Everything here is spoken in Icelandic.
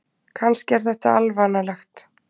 Kannski er þetta alvanalegt.